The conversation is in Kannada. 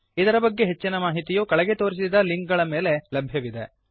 ಇದರ ಬಗ್ಗೆ ಹೆಚ್ಚಿನ ಮಾಹಿತಿಯು ಕೆಳಗೆ ತೋರಿಸಿದ ಲಿಂಕ್ ಗಳ ಮೇಲೆ ಲಭ್ಯವಿದೆ